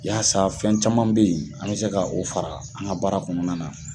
Yaasa fɛn caman be yen, an mi se ka o fara an ga baara kɔnɔna na